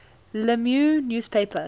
la meuse newspaper